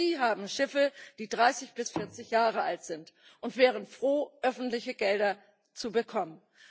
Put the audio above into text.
Auch sie haben Schiffe, die 30 bis 40 Jahre alt sind, und wären froh, öffentliche Gelder zu bekommen.